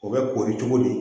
O bɛ kori cogo di